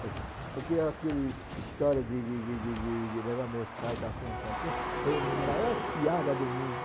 Falei assim ''porque aquele história de de de de de de levar meus pais assim, assim, assim, foi maior piada do mundo.